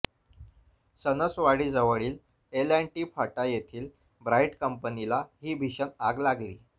सणसवाडीजवळील L and T फाटा येथील Bright कंपनीला ही भीषण आग लागली